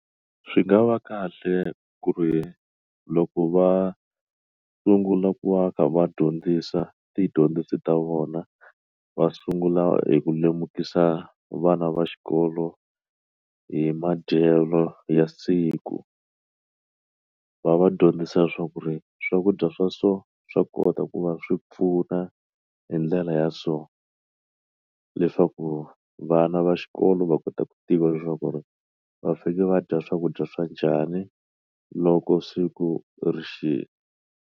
Swi nga va kahle ku ri loko va sungula ku va kha va dyondzisa tidyondzo ta vona va sungula hi ku lemukisa vana va xikolo hi madyelo ya siku va va dyondzisa leswaku ri swakudya swa so swa kota ku va swi pfuna hi ndlela ya so leswaku vana va xikolo va kota ku tiva leswaku va fike va dya swakudya swa njhani loko siku rixile.